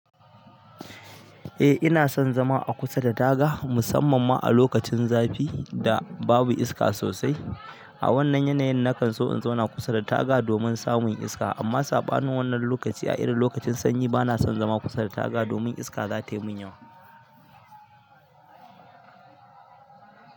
Eh ina son zama a kusa da taga musamman ma a lokacin zafi da babu iska sosai. A wannan yanayin nakan so in zauna kusa da taga domin samun iska amma saɓanin wannan lokaci a irin lokacin sanyi bana son zama kusa da taga domin iska za tai mun yawa.